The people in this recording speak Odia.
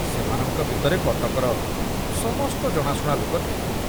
ସେମାନଙ୍କ ଭିତରେ କଟକର ସମସ୍ତ ଜଣାଶୁଣା ଲୋକ ଥିଲେ।